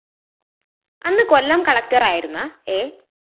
അന്ന് കൊല്ലം കളക്ടറായിരുന്ന എ